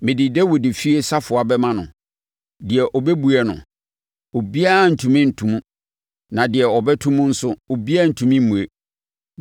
Mede Dawid efie safoa bɛma no; deɛ ɔbɛbue no, obiara rentumi nto mu; na deɛ ɔbɛto mu nso, obiara rentumi mmue.